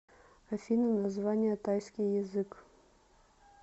афина название тайский язык